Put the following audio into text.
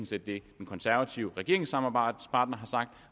set det den konservative regeringssamarbejdspartner har sagt